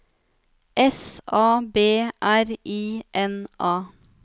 S A B R I N A